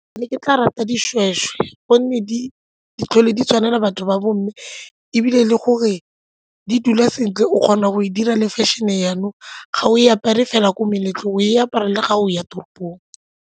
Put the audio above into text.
Ke ne ke tla rata dishweshwe gonne di tlhole di tshwanela batho ba bomme ebile le gore di dula sentle o kgona go e dira le fashion-e jaanong ga o e apare fela ko meletlong o e apara le ga o ya toropong.